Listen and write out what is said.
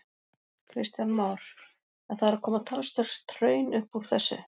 Kristján Már: En það er að koma talsvert hraun upp úr þessu?